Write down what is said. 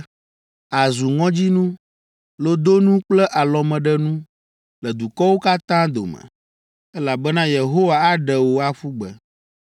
Àzu ŋɔdzinu, lodonu kple alɔmeɖenu le dukɔwo katã dome, elabena Yehowa aɖe wò aƒu gbe.